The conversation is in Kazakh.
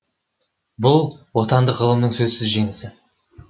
бұл отандық ғылымның сөзсіз жеңісі